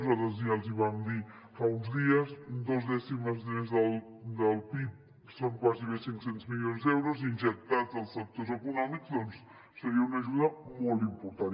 nosaltres ja els hi vam dir fa uns dies dos dècimes més del pib són gairebé cinc cents milions d’euros injectats als sectors econòmics doncs seria una ajuda molt important